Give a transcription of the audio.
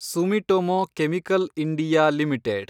Sumitomo chemical India limited